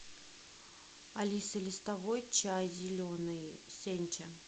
алиса листовой чай зеленый сенча